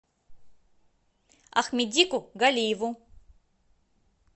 ахмедику галиеву